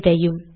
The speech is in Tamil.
இதையும்